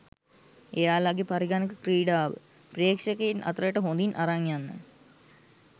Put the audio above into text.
එයාලගෙ පරිගණක ක්‍රීඩාව ප්‍රේක්ෂකයින් අතරට හොදින් අරන් යන්න.